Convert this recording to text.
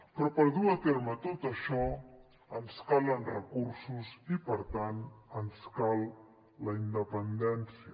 però per dur a terme tot això ens calen recursos i per tant ens cal la independència